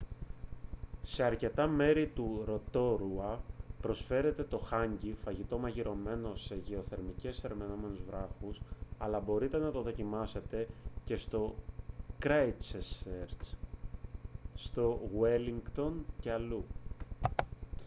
σε αρκετά μέρη του ροτόρουα προσφέρεται το hangi φαγητό μαγειρεμένο σε γεωθερμικά θερμαινόμενους βράχους αλλά μπορείτε να το δοκιμάσετε και στο κράισττσερτς στο γουέλλινγκτον και αλλού